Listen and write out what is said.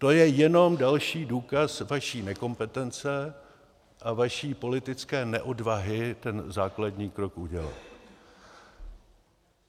To je jenom další důkaz vaší nekompetence a vaší politické neodvahy ten základní krok udělat.